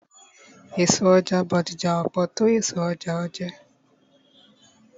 Èso ọjà Bódìjà ò pọ̀ tó ọjà Ojé.